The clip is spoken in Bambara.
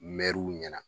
Mɛruw ɲɛna